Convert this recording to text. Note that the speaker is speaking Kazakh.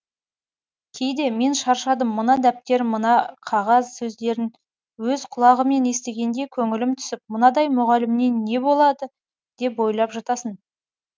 кейде мен шаршадым мына дәптер мына қағаз сөздерін өз құлағымен естігенде көңілім түсіп мынадай мұғалімнен не болады деп ойлап жатасын